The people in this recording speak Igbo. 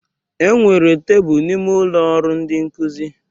Enwere tebụl n'ime ụlọ ọrụ ndị nkụzi